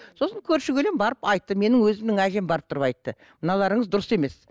сосын көрші көлең барып айтты менің өзімнің әжем барып тұрып айтты мыналарыңыз дұрыс емес